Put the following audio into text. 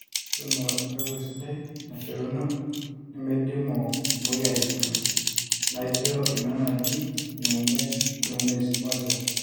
tuuno empegu sidai naishoruno nemeidimu imweyiaritin naijo ina naji. new mwezi moja